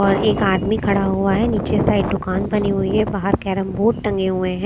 और एक आदमी खड़ा हुआ है नीचे साइड दुकान बनी हुई है बाहरकैरम बोर्ड टंगे हुए हैं।